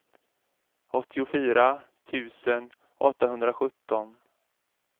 åttiofyra tusen åttahundrasjutton